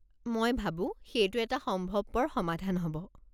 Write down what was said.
মই ভাবো সেইটো এটা সম্ভৱপৰ সমাধান হ'ব।